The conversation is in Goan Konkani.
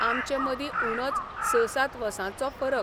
आमचे मदीं उणोच स सात वसाँचो फरक.